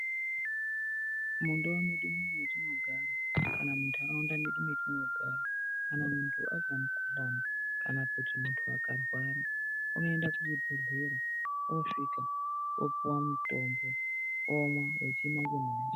Mundau medu metinogara kana mundaraunda medu metinogara kana muntu azwa mukhuhlani kana kutu muntu akarwara unoenda kuchibhedhlera osvika opuwa mutombo omwa..